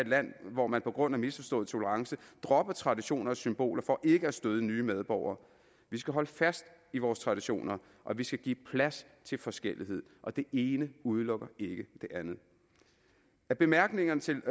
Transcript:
land hvor man på grund af misforstået tolerance dropper traditioner og symboler for ikke at støde nye medborgere vi skal holde fast i vores traditioner og vi skal give plads til forskellighed og det ene udelukker ikke det andet af bemærkningerne til